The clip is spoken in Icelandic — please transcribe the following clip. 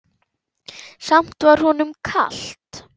Samt var honum kalt.